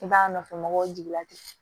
I b'a nɔfɛ mɔgɔw jigi la ten